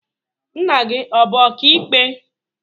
Nna gị ọ bụ ọka ikpe?